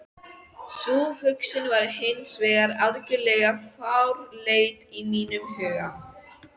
Sú hugsun var hins vegar algjörlega fráleit í mínum huga.